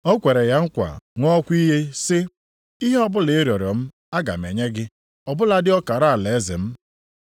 O kwere ya nkwa ṅụọkwa iyi sị, “Ihe ọbụla ị rịọrọ m aga m enye gị, ọ bụladị ọkara alaeze m.”